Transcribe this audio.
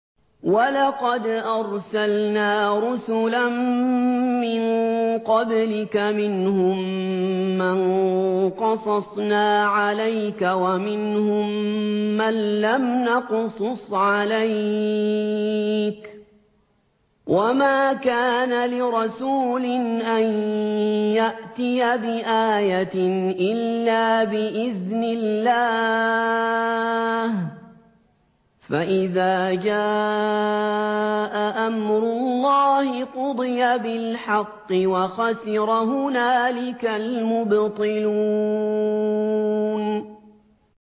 وَلَقَدْ أَرْسَلْنَا رُسُلًا مِّن قَبْلِكَ مِنْهُم مَّن قَصَصْنَا عَلَيْكَ وَمِنْهُم مَّن لَّمْ نَقْصُصْ عَلَيْكَ ۗ وَمَا كَانَ لِرَسُولٍ أَن يَأْتِيَ بِآيَةٍ إِلَّا بِإِذْنِ اللَّهِ ۚ فَإِذَا جَاءَ أَمْرُ اللَّهِ قُضِيَ بِالْحَقِّ وَخَسِرَ هُنَالِكَ الْمُبْطِلُونَ